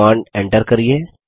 command enter करिये